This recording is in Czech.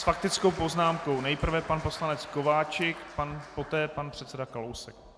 S faktickou poznámkou nejprve pan poslanec Kováčik, poté pan předseda Kalousek.